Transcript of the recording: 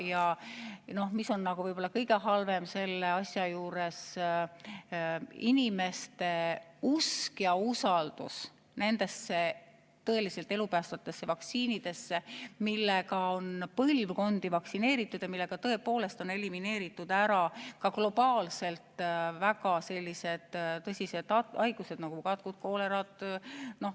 Ja mis on võib-olla kõige halvem selle asja juures: inimeste usk tõeliselt elupäästvatesse vaktsiinidesse, millega on põlvkondi vaktsineeritud ja millega tõepoolest on globaalselt elimineeritud väga tõsised haigused, nagu katk ja koolera.